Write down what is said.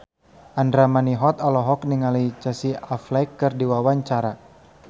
Andra Manihot olohok ningali Casey Affleck keur diwawancara